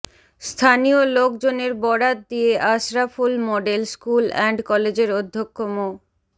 স্থানীয় লোকজনের বরাত দিয়ে আশরাফুল মডেল স্কুল অ্যান্ড কলেজের অধ্যক্ষ মো